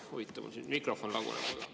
Huvitav, mul siin mikrofon laguneb.